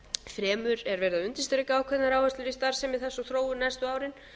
fremur er verið að undirstrika ákveðnar áherslur í starfsemi þess og þróun næstu árin